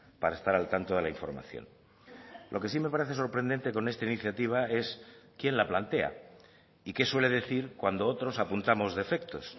para estar al tanto de la información lo que sí me parece sorprendente con esta iniciativa es quién la plantea y qué suele decir cuando otros apuntamos defectos